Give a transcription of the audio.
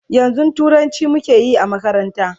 yanzun turanci muke Yi a makaranta